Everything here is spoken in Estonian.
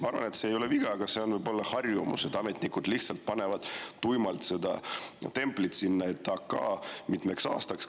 Ma arvan, et see ei ole viga, vaid ametnikel võib olla harjumus, et nad panevad lihtsalt tuimalt seda templit "AK" mitmeks aastaks.